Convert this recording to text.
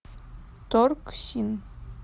торгсин